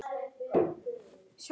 Og hann liggur djúpt